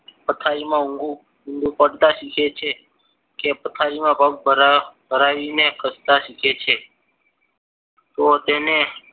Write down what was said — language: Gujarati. પથારીમાં ઊંઘવું ઊંધું પડતા શીખે છે. કે પથારીમાં પગ ભરાવા ભરાવીને ખસતા સીખે છે તો તેને